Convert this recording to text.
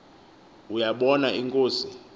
uya bona inkosi